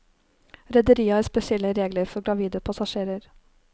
Rederiet har spesielle regler for gravide passasjerer.